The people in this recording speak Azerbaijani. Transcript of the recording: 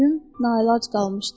Pülüm naəlac qalmışdı.